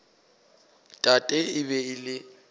tate e be e le